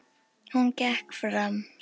Hún gekk fram.